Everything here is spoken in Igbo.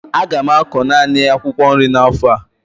Aga m akụ naanị akwụkwọ nri n'afọ a